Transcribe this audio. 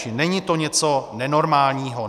Čili není to něco nenormálního.